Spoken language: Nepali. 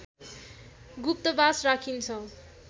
गुप्तवास राखिन्छ